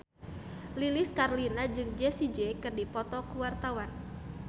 Lilis Karlina jeung Jessie J keur dipoto ku wartawan